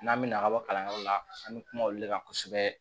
N'an bɛna ka bɔ kalanyɔrɔ la an bɛ kuma olu de kan kosɛbɛ